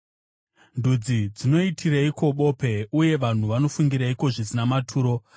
Ndudzi dzinoitireiko bope? Uye vanhu vanofungireiko zvisina maturo?